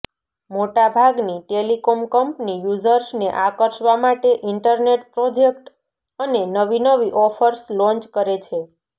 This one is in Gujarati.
મોટાભાગની ટેલિકોમ કંપની યૂઝર્સને આકર્ષવા માટે ઇન્ટરનેટ પ્રોજેક્ટ અને નવી નવી ઓફર્સ લોન્ચ કરે છે